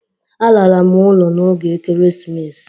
Alara m ụlọ n'oge Ekeresimesi.